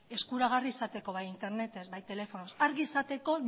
eskuragarri izateko bai internetez bai telefonoz argi izateko